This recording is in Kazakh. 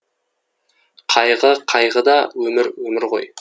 қайғы қайғы да өмір өмір ғой